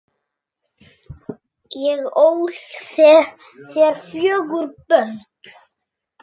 Ég ól þér fjögur börn.